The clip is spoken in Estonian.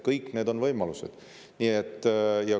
Kõik need on võimalused.